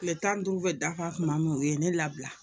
Tile tan ni duuru bɛ dafa tuma min u ye ne labila